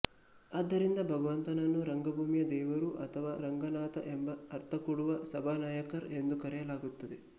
ಆದ್ದರಿಂದ ಭಗವಂತನನ್ನು ರಂಗಭೂಮಿಯ ದೇವರು ಅಥವಾ ರಂಗನಾಥ ಎಂಬ ಅರ್ಥಕೊಡುವ ಸಭಾನಾಯಕರ್ ಎಂದು ಕರೆಯಲಾಗುತ್ತದೆ